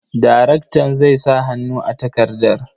Daraktan zai sa hannu a takardar.